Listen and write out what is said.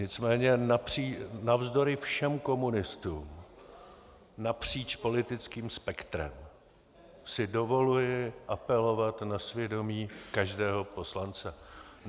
Nicméně navzdory všem komunistům napříč politickém spektrem si dovoluji apelovat na svědomí každého poslance.